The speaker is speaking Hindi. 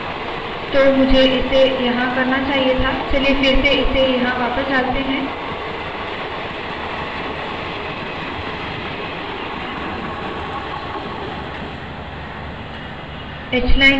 तो मुझे इसे यहाँ करना चाहिए था चलिए फिर से इसे यहाँ वापस डालते है